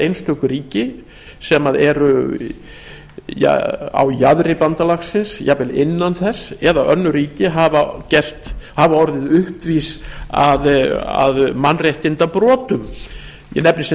einstök ríki sem eru á jaðri bandalagsins jafnvel innan þess eða önnur ríki eða orðið uppvís að mannréttindabrotum ég nefni sem